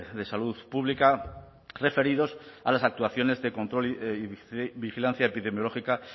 de salud pública referidos a las actuaciones de control y vigilancia epidemiológica